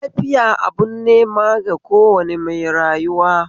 Lafiya abun neman ga kowane mai rayuwa